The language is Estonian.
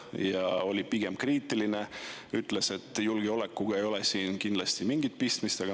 Ta oli pigem kriitiline ja ütles, et julgeolekuga ei ole siin kindlasti mingit pistmist.